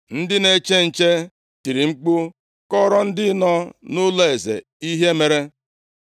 Ndị na-eche nche tiri mkpu kọọrọ ndị nọ nʼụlọeze ihe mere.